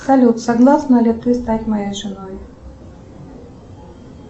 салют согласна ли ты стать моей женой